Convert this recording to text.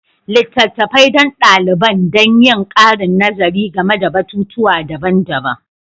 Littattafai don daliban don yin ƙarin nazari game da batutuwa daban-daban